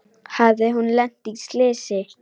Hafði hún lent í slysi?